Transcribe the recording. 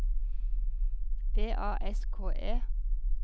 V A S K E